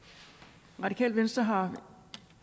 tak radikale venstre